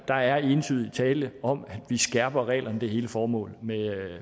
der er entydigt tale om at vi skærper reglerne det er hele formålet